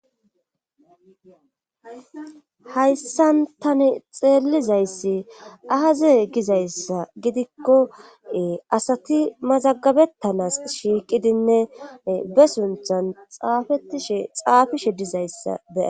hayssan tani xeelizayssi ahaze gizayssa gidikko asati mazagabettanas shiiqidinne be sunthan xaafetishe xaafishe dizayssa bea